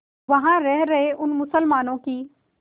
वहां रह रहे उन मुसलमानों की